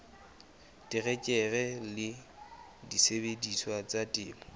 terekere le disebediswa tsa temo